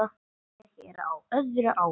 Ég er á öðru ári.